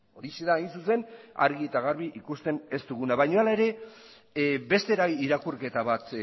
horixe da hain zuzen argi eta garbi ikusten ez duguna baino ala ere beste irakurketa bat